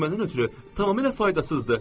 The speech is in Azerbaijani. Bu məndən ötrü tamamilə faydasızdır.